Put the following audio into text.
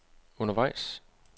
undervejs